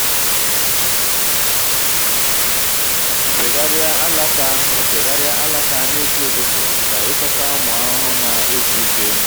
fagharịa alaka fagharịa alaka n'isi ụtụtụ ka ịchọta ụmụ ahụhụ na-ezu ike.